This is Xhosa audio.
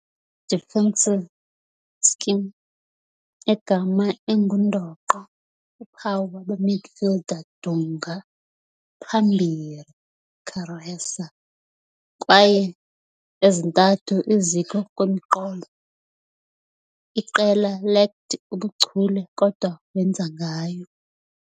defensive scheme, egama engundoqo uphawu waba midfielder Dunga, phambili Careca kwaye ezintathu iziko-kwemiqolo, iqela lacked ubuchule kodwa wenza ngayo.